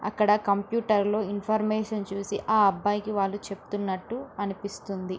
అక్కడ కంప్యూటర్లో ఇన్ఫర్మేషన్ చూసి ఆ అబ్బాయికి వాళ్ళు చెప్తున్నటు అనిపిస్తున్నది.